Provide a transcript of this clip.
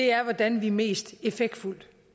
er hvordan vi mest effektfuldt